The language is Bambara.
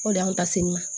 O de y'an ta sini ma